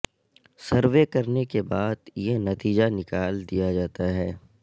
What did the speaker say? survey کرنے کے بعد یہ نتیجہ نکالا دیا جاتا ہے